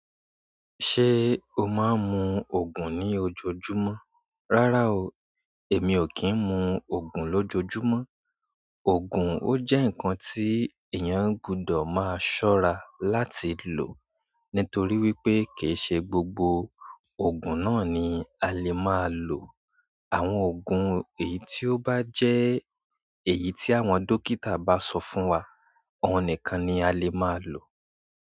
Ṣé o máa ń mu ògùn ní ojoojúmọ́? Rárá o, èmi ò kí ń mu ògùn lójojúmọ́. Ògùn ó jẹ́ ǹkan tí èèyàn gbọdọ̀ máa ṣọ́ra láti lò nítorí wípé kì í ṣe gbogbo ògùn náà ni a lè máa lò. Àwọn ògùn èyí tí ó bá jẹ́ èyí tí àwọn dókítà bá sọ fún wa, ohun nìkan ni a lè máa lò.